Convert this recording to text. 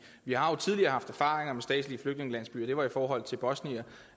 vi har jo tidligere haft erfaringer med statslige flygtningelandsbyer det var i forhold til bosniere